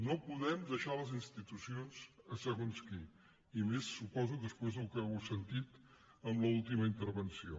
no podem deixar les institucions a segons qui i més su·poso després del que heu sentit en l’última intervenció